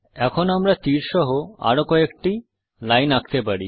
এখন আমরা তীর সহ আরো কয়েকটি লাইন আঁকতে চাই